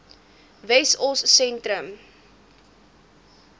wessosentrum